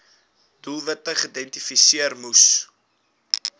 doelwitte geïdentifiseer moes